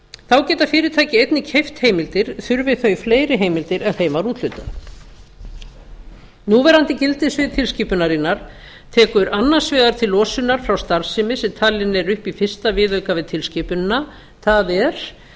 þá geta fyrirtæki einnig keypt heimildir þurfi þau fleiri heimildir en þeim var úthlutað núverandi gildissvið tilskipunarinnar tekur annars vegar til losunar frá starfsemi sem talin er upp í fyrsta viðauka við tilskipunina það er